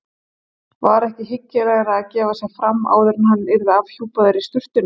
Var ekki hyggilegra að gefa sig fram áður en hann yrði afhjúpaður í sturtunni?